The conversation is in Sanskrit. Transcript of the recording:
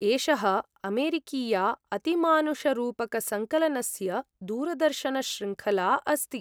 एषः अमेरिकीया अतिमानुषरूपकसंकलनस्य दूरदर्शनशृङ्खला अस्ति।